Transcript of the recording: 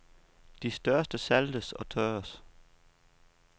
De største saltes og tørres.